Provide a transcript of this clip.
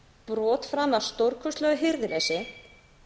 brot framið af stórkostlegu hirðuleysi